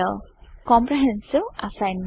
comprehensive assignment